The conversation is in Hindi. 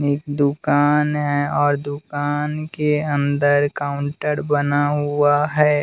एक दुकान है और दुकान के अंदर काउंटर बना हुआ है।